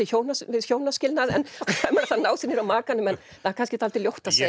við hjónaskilnað ef maður ætlar að ná sér niðri á makanum en það er kannski dálítið ljótt að segja